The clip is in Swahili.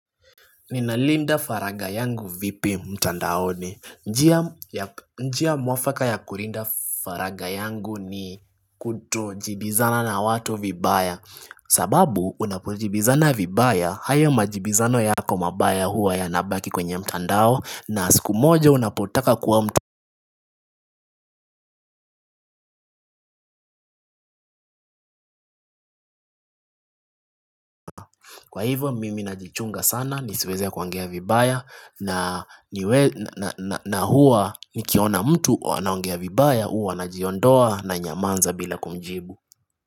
Ninalinda faraga yangu vipi mtandaoni. Njia mwafaka ya kulinda faraga yangu ni kutojibizana na watu vibaya. Sababu unapojibizana vibaya, haya majibizano yako mabaya huwa yanabaki kwenye mtandao na siku moja unapotaka kuwa mtandao. Kwa hivyo mimi najichunga sana nisiweze kuongea vibaya na huwa nikiona mtu anaongea vibaya huwa najiondoa nanyamaza bila kumjibu.